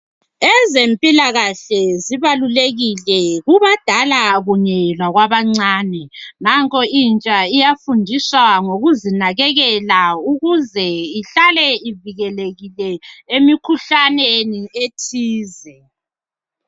Ezempilakahle zibalulekile kubadala kunye lakwabancane. Nanko intsha iyafundiswa ngokuzinakekela ukuze ihlale ivikelekile emikhuhlaneni ethize.